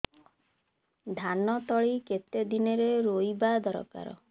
ଧାନ ତଳି କେତେ ଦିନରେ ରୋଈବା ଦରକାର